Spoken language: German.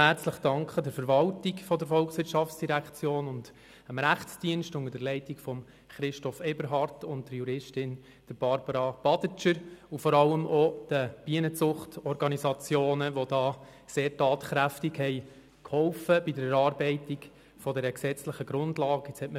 Ich möchte auch der Verwaltung der VOL herzlich danken und dem Rechtsdienst unter der Leitung von Christoph Eberhard und Juristin Barbara Badertscher, vor allem auch den Bienenzucht-Organisationen, die bei der Erarbeitung dieser gesetzlichen Grundlage sehr tatkräftig mitgeholfen haben.